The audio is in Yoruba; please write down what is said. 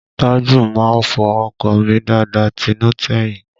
Tájù a máa fọ ọkọ̀ mọ́ dáadáa tinú tẹ̀yìn